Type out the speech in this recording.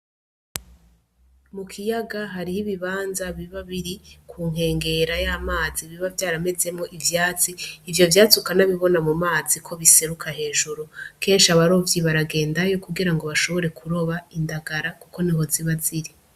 Mu kiyaga hariho ibibanza biba biri ku nkengera y'amazi biba vyaramezemwo ivyatsi. Ivyo vyatsi ukanabibona mu mazi ko biseruka hejuru. Kenshi abarovyi baragendayo kugira ngo bashobore kuroba indagara kuko niho ziba ziri.